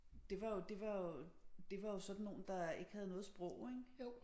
Det var jo det var jo det var jo sådan nogle der ikke havde noget sprog ik